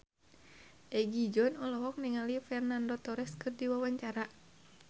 Egi John olohok ningali Fernando Torres keur diwawancara